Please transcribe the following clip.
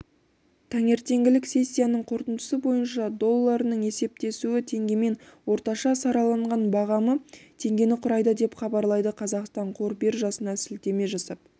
таңертеңгілік сессиясының қорытындысы бойынша долларының есептесуі теңгемен орташа сараланған бағамы теңгені құрайды деп хабарлайды қазақстан қор биржасына сілтеме жасап